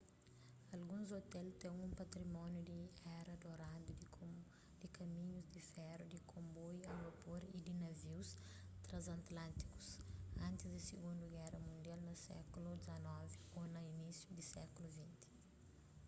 alguns ôtel ten un patrimóniu di éra doradu di kaminhus-di feru di konboiu a vapor y di navius tranzantlântikus antis di sigundu géra mundial na sékulu xix ô na inísiu di sékulu xx